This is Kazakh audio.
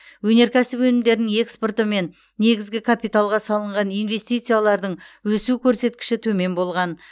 өнеркәсіп өнімдерінің экспорты мен негізгі капиталға салынған инвестициялардың өсу көрсеткіші төмен болған